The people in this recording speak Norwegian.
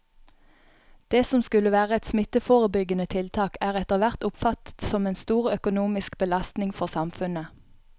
Det som skulle være et smitteforebyggende tiltak er etterhvert oppfattet som en stor økonomisk belastning for samfunnet.